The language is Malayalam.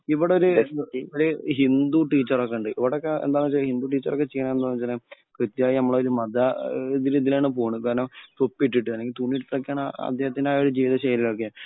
ഇവിടൊരു ഒരു ഹിന്ദു ടീച്ചർ ഒക്കെ ഉണ്ട്. ഇവിടെക്കേ എന്താ ന്നു വച്ചാൽ ഹിന്ദുടീച്ചര്‍ ഒക്കെ ചെയ്യണേ എന്താന്നു വച്ചാല് കൃത്യായി നമ്മളെ ഒരു മത ഒരു ഇതിലാണ് പോണത്. കാരണം തൊപ്പി ഇട്ടിട്ട് അല്ലെങ്കിൽ തുണി ഇട്ടിട്ട് ഒക്കെ ആണ് അദ്ദേഹത്തിന്റെ ജീവിത ശൈലി ഒക്കെ